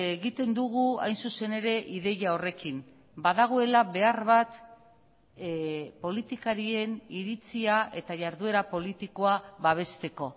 egiten dugu hain zuzen ere ideia horrekin badagoela behar bat politikarien iritzia eta jarduera politikoa babesteko